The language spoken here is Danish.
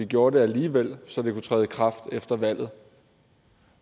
gjorde det alligevel så det kunne træde i kraft efter valget